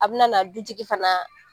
A bina na dutigi fana